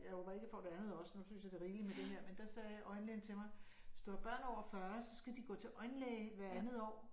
Jeg håber ikke jeg får det andet også nu jeg synes det er rigeligt med det her men der sagde øjenlægen til mig hvis du har børn over 40 så skal de gå til øjenlæge hver andet år